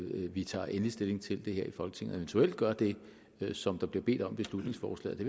vi tager endelig stilling til det her i folketinget og eventuelt gør det som der bliver bedt om i beslutningsforslaget